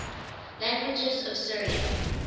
languages of syria